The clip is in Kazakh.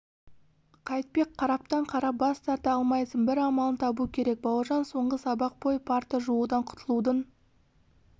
қайтпек қараптан-қарап бас тарта алмайсың бір амалын табу керек бауыржан соңғы сабақ бойы парта жуудан құтылудың